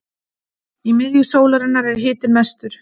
í miðju sólarinnar er hitinn mestur